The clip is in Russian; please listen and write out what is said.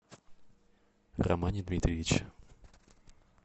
романе дмитриевиче